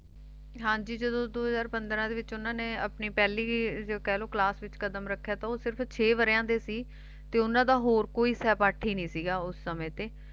ਹਾਂਜੀ ਜਦੋ ਦੋ ਹਜ਼ਾਰ ਪੰਦਰਾਂ ਦੇ ਵਿਚ ਓਹਨਾ ਨੇ ਆਪਣੀ ਪਹਿਲੀ ਕਹਿ ਲੋ ਕਲਾਸ ਵਿਚ ਕਦਮ ਰੱਖਿਆ ਤਾ ਉਹ ਸਿਰਫ ਛੇ ਵਰਿਆਂ ਦੇ ਸੀ ਤੇ ਓਹਨਾ ਦਾ ਹੋਰ ਕੋਈ ਸਹਿਪਾਠੀ ਨਹੀਂ ਸੀਗਾ ਉਸ ਸਮੇਂ ਤੇ